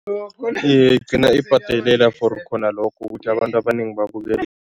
Iye, igcina ibhadalela for khona lokho ukuthi abantu abanengi babukele.